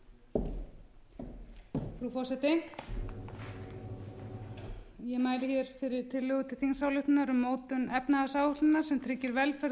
forseti ég mæli hér fyrir tillögu til þingsályktunar um mótun efnahagsáætlunar sem tryggir velferð og